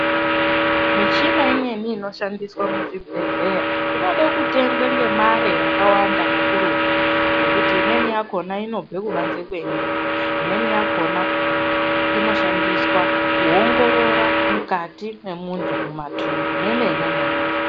Michina imweni inoshandiswa kuzvibhedhlera inoda kutengwa ngemare yakawanda kakurutu ngekuti imweni yakhona inobve kubanze kwenyika imweni yakhona inoshandiswa kuongorora mukati memuntu mumathumbu memene memuntu.